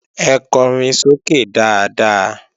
Ẹ kọrin sókè dáadáa!